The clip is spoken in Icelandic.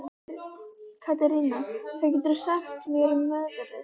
Katerína, hvað geturðu sagt mér um veðrið?